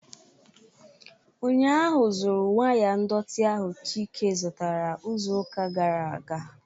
Ụnyahụ zuru waya ndọtị ahụ Chike zụtara izuụka gara aga